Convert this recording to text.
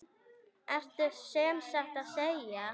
Ertu sem sagt að segja.